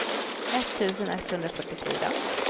etttusen etthundrafyrtiofyra